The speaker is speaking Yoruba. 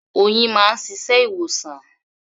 Oyin máa ń ṣiṣẹ́ ìwòsàn.